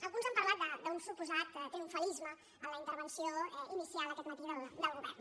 alguns han parlat d’un suposat triomfalisme en la intervenció inicial aquest matí del govern